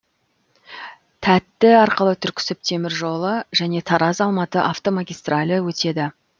тәтті арқылы түрксіб темір жолы және тараз алматы автомагистралі өтеді